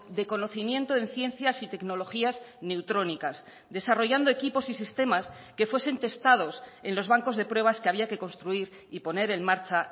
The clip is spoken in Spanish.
de conocimiento en ciencias y tecnologías neutrónicas desarrollando equipos y sistemas que fuesen testados en los bancos de pruebas que había que construir y poner en marcha